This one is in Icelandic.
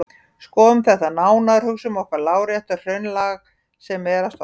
Skoðum þetta nánar: Hugsum okkur lárétt hraunlag sem er að storkna.